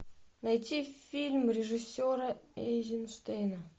найти фильм режиссера эйзенштейна